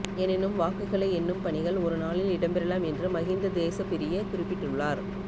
எனினும் வாக்குகளை எண்ணும் பணிகள் ஒருநாளில் இடம்பெறலாம் என்று மஹிந்த தேசப்பிரிய குறிப்பிட்டுள்ளார்